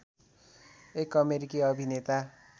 एक अमेरिकी अभिनेता